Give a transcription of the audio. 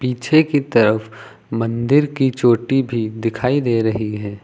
पीछे की तरफ मंदिर की चोटी भी दिखाई दे रही है।